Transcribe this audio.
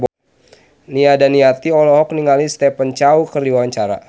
Nia Daniati olohok ningali Stephen Chow keur diwawancara